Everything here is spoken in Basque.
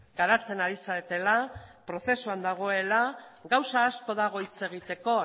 garatzen ari zaretela prozesuan dagoela gauza asko dago hitz egiteko